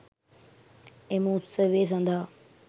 එම උත්සවය සඳහා